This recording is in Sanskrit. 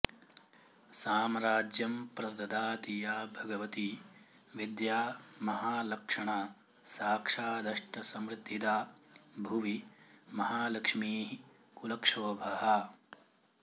साम्राज्यम्प्रददाति या भगवती विद्या महालक्षणा साक्षादष्टसमृद्धिदा भुवि महालक्ष्मीः कुलक्षोभहा